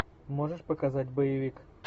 можешь показать боевик